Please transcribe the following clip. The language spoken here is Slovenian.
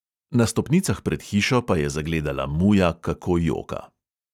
Na stopnicah pred hišo pa je zagledala muja, kako joka.